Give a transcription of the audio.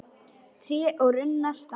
Tré og runnar standa nakin.